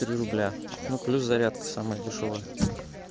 три рубля ну плюс зарядка самая дешёвая